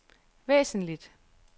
væsentligt